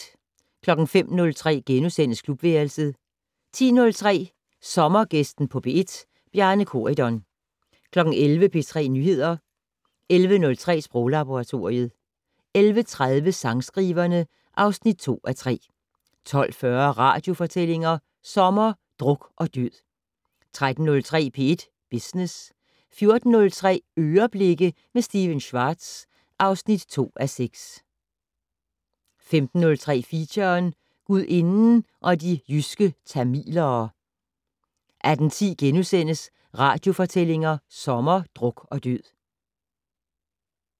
05:03: Klubværelset * 10:03: Sommergæsten på P1: Bjarne Corydon 11:00: P3 Nyheder 11:03: Sproglaboratoriet 11:30: Sangskriverne (2:3) 12:40: Radiofortællinger sommer: Druk og død 13:03: P1 Business 14:03: "Øreblikke" med Stephen Schwartz (2:6) 15:03: Feature: Gudinden og de jyske tamilere 18:10: Radiofortællinger sommer: Druk og død *